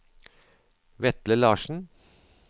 Vetle Larsen